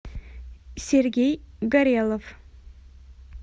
сергей горелов